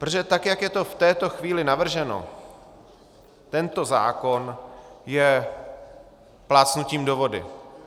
Protože tak jak je to v této chvíli navrženo, tento zákon je plácnutím do vody.